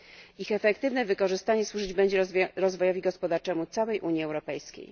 Ich efektywne wykorzystanie służyć będzie rozwojowi gospodarczemu całej Unii Europejskiej.